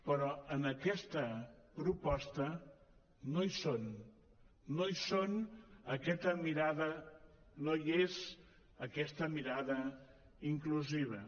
però en aquesta proposta no hi són no hi són aquesta mirada no hi és aquesta mirada inclusiva